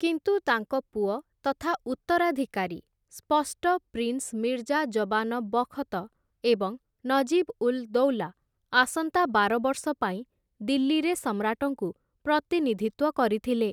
କିନ୍ତୁ ତାଙ୍କ ପୁଅ ତଥା ଉତ୍ତରାଧିକାରୀ, ସ୍ପଷ୍ଟ ପ୍ରିନ୍ସ ମିର୍ଜା ଜବାନ ବଖ୍‌ତ ଏବଂ ନଜିବ୍‌ ଉଲ୍‌ ଦୌଲା ଆସନ୍ତା ବାର ବର୍ଷ ପାଇଁ ଦିଲ୍ଲୀରେ ସମ୍ରାଟଙ୍କୁ ପ୍ରତିନିଧିତ୍ୱ କରିଥିଲେ ।